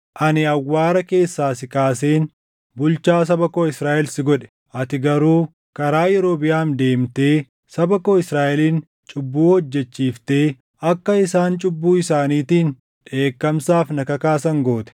“Ani awwaara keessaa si kaaseen bulchaa saba koo Israaʼel si godhe; ati garuu karaa Yerobiʼaam deemtee saba koo Israaʼelin cubbuu hojjechiiftee akka isaan cubbuu isaaniitiin dheekkamsaaf na kakaasan goote.